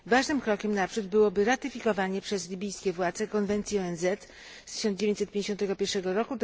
Ważnym krokiem naprzód byłoby ratyfikowanie przez libijskie władze konwencji ONZ z 1951 r.